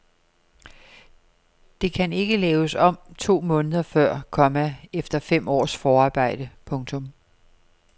Det kan ikke laves om to måneder før, komma efter fem års forarbejde. punktum